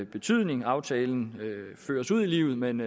betydning aftalen føres ud i livet men